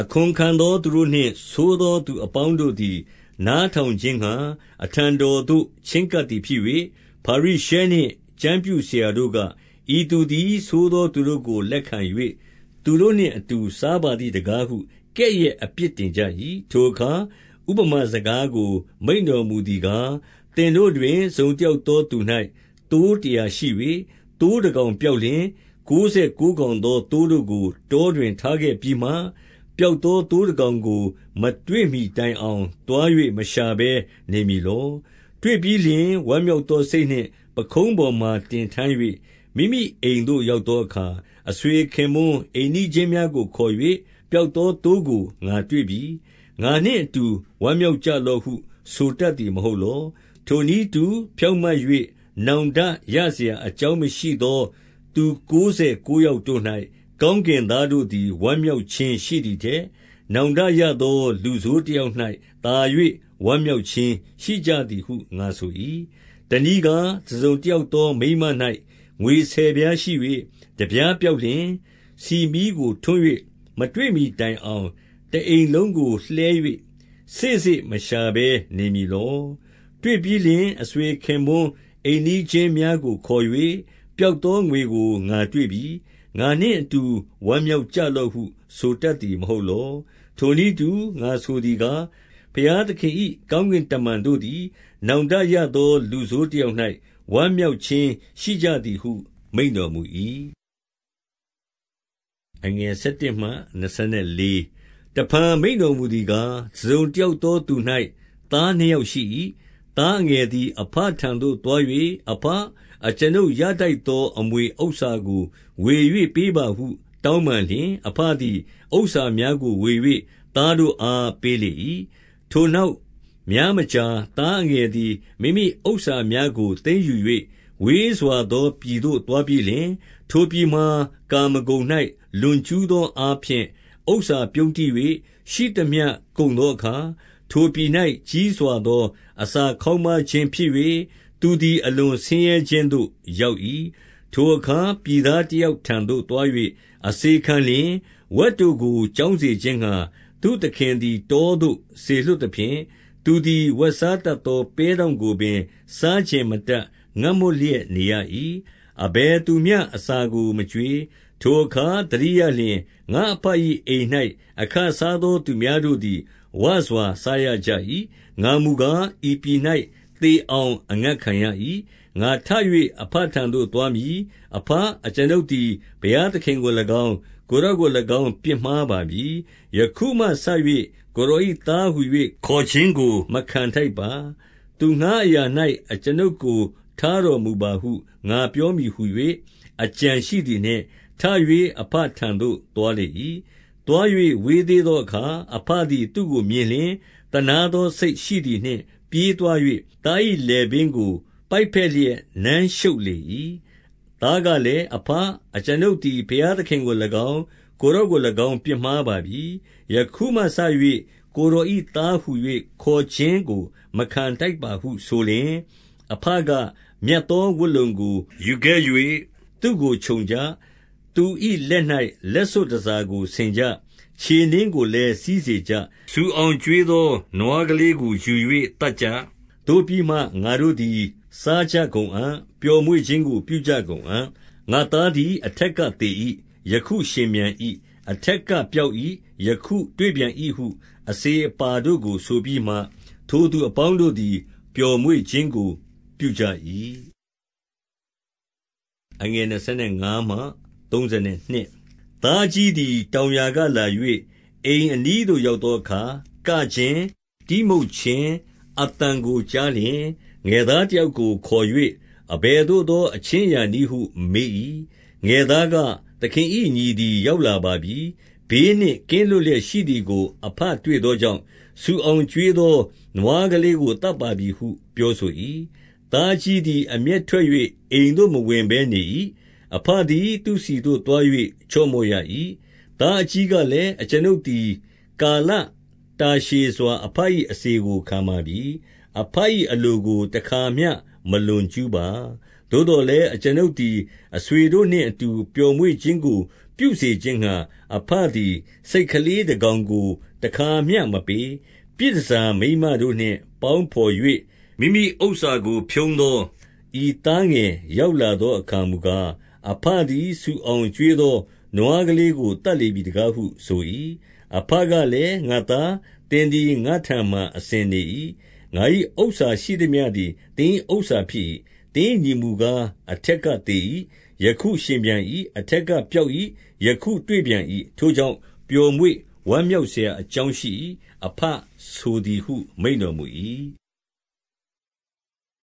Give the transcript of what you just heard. အခွန်ခံသော သူတို့နှင့်ဆိုးသောသူအပေါင်းတို့သည် နားထောင်ခြင်းငှါ အထံတော်သို့ ချဉ်းကပ်သည် ဖြစ်၍၊ 2 ဖာရိရှဲနှင့် ကျမ်းပြုဆရာတို့က၊ ဤသူသည် ဆိုးသောသူတို့ကိုလက်ခံ၍ သူတို့နှင့်အတူ စားပါသည် တကားဟု ကဲ့ရဲ့အပြစ်တင်ကြ၏။ 3 ထိုအခါ ဥပမာစကားကို မိန့်တော်မူသည်ကား၊ သင်တို့တွင် တစုံတယောက်သောသူ၌ သိုးတရာရှိ၍၊ 4 သိုးတကောင်ပျောက်လျှင်၊ ကိုးဆယ်ကိုးကောင်သော သိုးတို့ကို တောတွင်ထားခဲ့ပြီးမှ၊ ပျောက်သော သိုး တကောင်ကို မတွေ့မှီတိုင်အောင်သွား၍ မရှာဘဲနေမည်လော။ 5 တွေ့ပြီးလျှင် ဝမ်းမြောက်သော စိတ်နှင့် ပခုံးပေါ်မှာ တင်ထမ်း၍၊ 6 မိမိအိမ်သို့ ရောက်သောအခါ အဆွေခင်ပွန်း အိမ်နီးချင်းများကိုခေါ်၍၊ ပျောက်သောသိုးကို ငါတွေ့ ပြီ။ ငါနှင့်အတူ ဝမ်းမြောက်ကြလော့ဟု ဆိုတတ်သည် မဟုတ်လော။ 7 ထိုနည်းတူ ဖြောင့်မတ်၍ နောင်တရစရာအကြောင်းမရှိသောသူ ကိုးဆယ်ကိုးယောက်တို့၌ ကောင်း ကင်သားတို့သည် ဝမ်းမြောက်ခြင်းရှိသည်ထက်၊ နောင်တရသောလူဆိုးတယောက်၌ သာ၍ဝမ်းမြောက်ခြင်း ရှိကြသည်ဟု ငါဆို၏။ 8 တနည်းကား၊ တစုံတယောက်သောမိန်းမ၌ ငွေဆယ်ပြားရှိ၍ တပြားပျောက်လျှင်၊ ဆီမီးကိုထွန်း၍ မတွေ့မှီတိုင်အောင် တအိမ်လုံးကိုလှည်း၍ စေ့စေ့မရှာဘဲ နေမည်လော။ 9 တွေ့ပြီးလျှင် အဆွေခင်ပွန်းအိမ်နီးချင်းများကိုခေါ်၍၊ ပျောက်သောငွေကို ငါတွေ့ပြီ။ ငါနှင့်အတူ ဝမ်း မြောက်ကြလော့ဟု ဆိုတတ်သည်မဟုတ်လော။ 10 ထိုနည်းတူ ငါဆိုသည်ကား၊ ဘုရားသခင်၏ ကောင်းကင်တမန်တို့သည် နောင်တရသောလူဆိုးတ ယောက်၌ ဝမ်းမြောက်ခြင်းရှိကြသည်ဟု မိန့်တော်မူ၏။ 11 တဖန် မိန့်တော်မူသည်ကား၊ တစုံတယောက်သောသူ၌ သားနှစ်ယောက်ရှိ၏။ 12 သားအငယ်သည် အဘထံသို့ သွား၍၊ အဘ၊ အကျွန်ုပ်ရထိုက်သော အမွေဥစ္စာကိုဝေ၍ ပေးပါဟု တောင်းပန်လျှင်၊ အဘသည် ဥစ္စာများကိုဝေ၍ သားတို့အား ပေးလေ၏။ 13 ထိုနောက်များမကြာ၊ သားအငယ်သည် မိမိဥစ္စာများကို သိမ်းယူ၍ ဝေးစွာသောပြည်သို့ သွားပြီးလျှင်၊ ထိုပြည်မှာ ကာမဂုဏ်၌ လွန်ကျူးသောအားဖြင့် ဥစ္စာပြုန်းတီး၍၊ 14 ရှိသမျှကုန်သောအခါ၊ ထိုပြည်၌ ကြီးစွာသောအစာခေါင်းပါးခြင်းဖြစ်၍၊ သူသည် အလွန်ဆင်းရဲခြင်းသို့ ရောက်၏။ 15 ထိုအခါ ပြည်သားတယောက်ထံသို့သွား၍ အစေခံလျှင်၊ ဝက်တို့ကို ကျောင်းစေခြင်းငှါ သူ့သခင်သည် တောသို့ စေလွှတ်သဖြင့်၊ 16 သူသည် ဝက်စားတတ်သော ပဲ့တောင့်ကိုပင် စားချင်မတတ်ငတ်မွတ်လျက်နေရ၏။ အဘယ်သူမျှ အစာကို မကျွေး။ 17 ထိုအခါ သတိရလျှင်၊ ငါ့အဘ၏အိမ်၌ အခစားသောသူများတို့သည် ဝစွာစားရကြ၏။ ငါမူကား ဤ ပြည်၌သေအောင် အငတ်ခံရ၏။ 18 ငါထ၍ အဘထံသို့ သွားမည်။ အဘ၊ အကျွန်ုပ်သည် ဘုရားသခင်ကို၎င်း၊ ကိုယ်တော်ကို၎င်း ပြစ်မှား ပါပြီ။ 19 ယခုမှစ၍ ကိုယ်တော်၏သားဟူ၍ ခေါ်ခြင်းကိုမခံထိုက်ပါ။ သူငှါးအရာ၌ အကျွန်ုပ်ကို ထားတော် မူပါဟု ငါပြောမည်ဟူ၍ အကြံရှိသည်နှင့်၊ 20 ထ၍ အဘထံသို့ သွားလေ၏။ သွား၍ ဝေးသေးသောအခါ အဘသည် သူ့ကိုမြင်လျှင်၊ သနားသော စိတ်ရှိသည်နှင့် ပြေးသွား၍ သား၏လည်ပင်းကို ပိုက်ဘက်လျက် နမ်းရှုပ်လေ၏။ 21 သားကလည်း၊ အဘ၊ အကျွန်ုပ်သည် ဘုရားသခင်ကို၎င်း၊ ကိုယ်တော်ကို၎င်း ပြစ်မှားပါပြီ။ ယခုမှစ၍ ကိုယ်တော်၏သားဟူ၍ ခေါ်ခြင်းကို မခံထိုက်ပါဟုဆိုလျှင်၊ 22 အဘက၊ မြတ်သောဝတ်လုံကို ယူခဲ့၍ သူ့ကို ခြုံကြ၊ သူ၏လက်၌ လက်စွပ်တန်ဆာကို ဆင်ကြ။ 23 ခြေနင်းကိုလည်း စီးစေကြ။ ဆူအောင်ကျွေးသော နွားကလေးကို ယူ၍သတ်ကြ။ သို့ပြီးမှ ငါတို့သည် စားကြကုန်အံ့။ ပျော်မွေ့ခြင်းကို ပြုကြကုန်အံ့။ 24 ငါ့သားသည်အထက်က သေ၏။ ယခုရှင်ပြန်၏။ အပါတို့ကို ဆိုပြီးမှ၊ ထိုသူအပေါင်းတို့သည် ပျော်မွေ့ ခြင်းကို ပြုကြ၏။ 25 သားအကြီးသည် တောင်ယာကလာ၍ အိမ်အနီးသို့ရောက်သောအခါ၊ ကခြင်း၊ တီးမှုတ်ခြင်းအသံကို ကြားလျှင်၊ 26 ငယ်သားတယောက်ကိုခေါ်၍ အဘယ်သို့သော အခြင်းအရာနည်းဟု မေး၏။ 27 ငယ်သားက၊ သခင်၏ညီသည် ရောက်လာပါပြီ။ ဘေးနှင့်ကင်းလွတ်လျက်ရှိသည်ကို အဘတွေ့သော ကြောင့်၊ ဆူအောင်ကျွေးသော နွားကလေးကိုသတ်ပါပြီဟု ပြောဆို၏။ သားအကြီးသည် အမျက်ထွက်၍ အိမ်သို့ မဝင်ဘဲနေ၏။ 28 အဘသည် သူ့ဆီသို့သွား၍ ချော့မော့ရ၏။ 29 သားအကြီးကလည်း၊ အကျွန်ုပ်သည် ကာလတာရှည်စွာ အဘ၏ အစေကိုခံပါပြီ။ အဘ၏အလိုကို တခါမျှ မလွန်ကျူးပါ။ သို့သော်လည်း အကျွန်ုပ်သည် အဆွေတို့နှင့်အူပျော်မွေ့ခြင်းကို ပြုစေခြင်းငှါ၊ အဘသည် ဆိတ်ကလေးတကောင်ကို တခါမျှ မပေး။ 30 ပြည်တန်ဆာမိန်းမတို့နှင့် ပေါင်းဘော်၍ မိမိဥစ္စာကိုဖြုန်းသော ဤသားငယ်ရောက်လာသောအခါ မူကား၊ အဘသည် ဆူအောင်ကျွေးသော နွားကလေးကို သတ်လေပြီတကားဟု ဆို၏။ 31 အဘကလည်း၊ ငါ့သား၊ သင်သည် ငါ့ထံမှာ အစဉ်နေ၏။ ငါ၏ဥစ္စာရှိသမျှသည် သင်၏ဥစ္စာဖြစ်၏။ 32 သင်၏ညီမူကား အထက်ကသေ၏။ ယခုရှင်ပြန်၏။ အထက်ကပျောက်၏။ ယခုတွေ့ပြန်၏။ ထိုကြောင့် ပျော်မွေ့ဝမ်းမြောက်စရာအကြောင်းရှိ၏။ အဘဆိုသည်ဟု မိန့်တော်မူ၏။